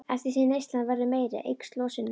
Eftir því sem neyslan verður meiri eykst losunin.